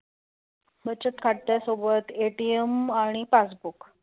बचत खात्यासोबत ATM आणि passbook